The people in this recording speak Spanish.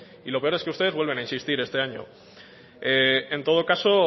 y lo peor es que ustedes vuelven a insistir este año en todo caso